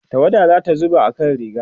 tawada ta zuba akan rigarsa